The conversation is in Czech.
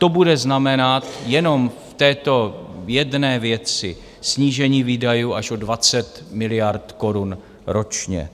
To bude znamenat jenom v této jedné věci snížení výdajů až o 20 miliard korun ročně.